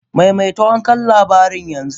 Maimaita wancan labarin yanzu!